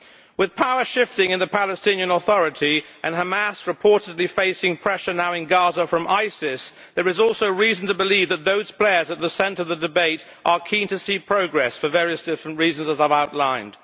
With power shifting in the Palestinian Authority and Hamas reportedly facing pressure now in Gaza from ISIS, there is also reason to believe that those players at the centre of the debate are keen to see progress, for various different reasons as I have outlined.